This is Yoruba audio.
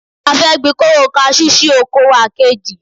A fẹ́ gbin koro kasú sí oko wa kejì.